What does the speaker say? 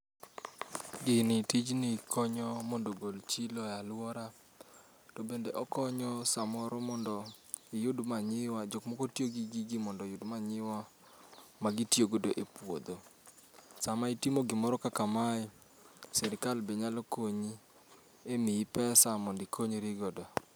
Gini tijni konyo mondo ogol chilo e alwora. To bende okonyo samoro mondo iyud manyiwa, jokmoko tiyo gi gigi mondo oyud manyiwa ma gitiyogodo e puodho. Sama itimo gimoro kaka mae, sirikal be nyalo konyi e miyi pesa mondikonyri godo.